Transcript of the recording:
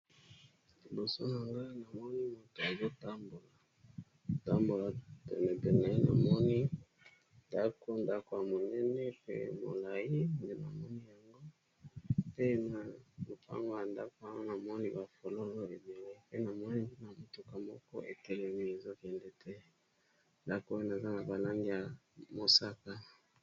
Liboso na ngai na moni moto azotambola, tambola penepene na moni ndako, ndako ya monene pe molai nde namoni yango pe na lopango ya ndako pe na moni bafololo, pe namoni motuka moko etelemi ezokende te lakoene eza na balangi ya mosaka.